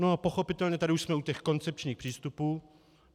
No a pochopitelně tady už jsme u těch koncepčních přístupů.